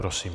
Prosím.